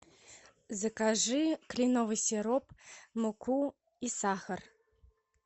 закажи кленовый сироп муку и сахар